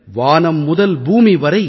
வானம் முதல் பூமி வரை